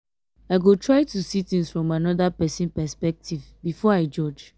i go try to see things from another pesin perspective before i judge.